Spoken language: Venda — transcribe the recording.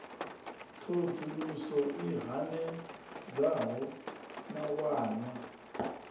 thoḓ uluso i hanedzaho mawanwa